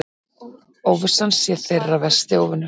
Óvissan sé þeirra versti óvinur.